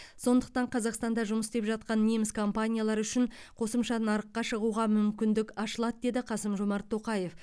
сондықтан қазақстанда жұмыс істеп жатқан неміс компаниялары үшін қосымша нарыққа шығуға мүмкіндік ашылады деді қасым жомарт тоқаев